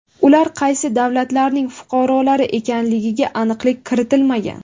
Ular qaysi davlatlarning fuqarolari ekanligiga aniqlik kiritilmagan.